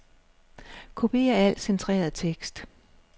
Kopier al centreret tekst.